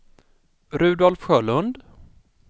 Rudolf Sjölund